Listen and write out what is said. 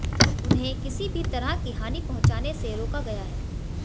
उन्हें किसी भी तरह की हानि पहुंचाने से रोका गया है